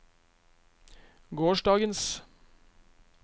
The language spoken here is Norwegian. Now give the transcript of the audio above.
gårsdagens